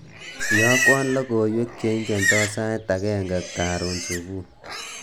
Iyokwo logoiwek cheingeto sait agenge karon subui